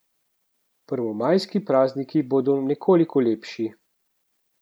Prvomajski prazniki bodo nekoliko lepši.